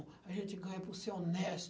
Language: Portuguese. A gente ganha por ser